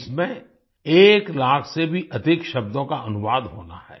इसमें 1 लाख से भी अधिक शब्दों का अनुवाद होना है